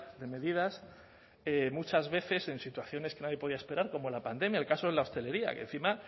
de medidas muchas veces en situaciones que nadie podía esperar como la pandemia el caso de la hostelería que encima